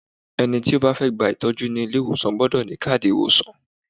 Ẹni tí ó bá fẹ́ gba ìtọ́jú ní ilé ìwòsàn gbọ́dọ̀ ní káàdì ìwòsàn.